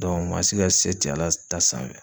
maa si ka se te Ala s ta sanfɛ.